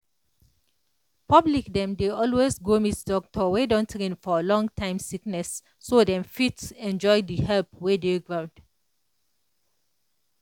public dem dey always go meet doctor wey don train for long-time sickness so dem fit enjoy the help wey dey ground.